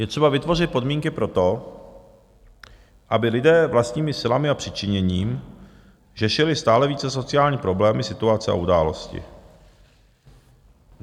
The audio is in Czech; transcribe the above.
Je třeba vytvořit podmínky pro to, aby lidé vlastními silami a přičiněním řešili stále více sociální problémy, situace a události.